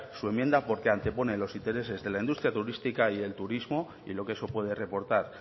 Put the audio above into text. su enmienda porque antepone los intereses de la industria turística y el turismo y lo que eso puede reportar